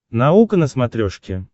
наука на смотрешке